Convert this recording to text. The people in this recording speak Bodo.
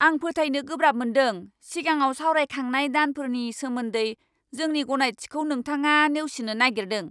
आं फोथायनो गोब्राब मोन्दों सिगाङाव सावरायखांनाय दानफोरनि सोमोन्दै जोंनि गनायथिखौ नोथाङा नेवसिनो नायगिरदों!